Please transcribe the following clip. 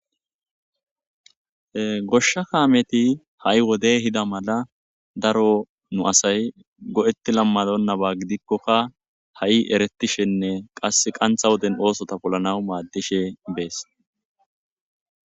Goshsha kaameti ha'i wdey hida mala daro nu asay go'ti lammadonnaba gidikkokka ha'i eretishenne qass qantha woden oosota polanaw maad dishe bees.